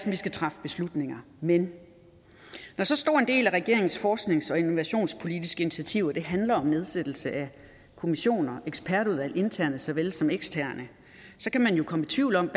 at vi skal træffe beslutninger men når så stor en del af regeringens forsknings og innovationspolitiske initiativer handler om nedsættelse af kommissioner og ekspertudvalg interne såvel som eksterne så kan man jo komme i tvivl om